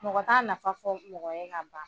Mɔgɔ t'a nafa fɔ mɔgɔ ye ka ban